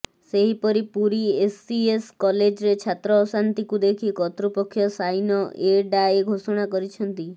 ସେହିପରି ପୁରୀ ଏସସିଏସ କଲେଜରେ ଛାତ୍ର ଅଶାନ୍ତିକୁ ଦେଖି କର୍ତ୍ତୃପକ୍ଷ ସାଇନ ଏ ଡାଏ ଘୋଷଣା କରିଛନ୍ତି